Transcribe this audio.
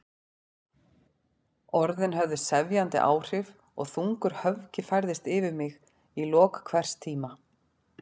Orðin höfðu sefjandi áhrif og þungur höfgi færðist yfir mig í lok hvers tíma.